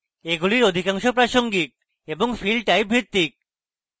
এগুলির অধিকাংশ প্রাসঙ্গিক এবং field type ভিত্তিক